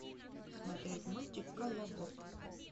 смотреть мультик колобок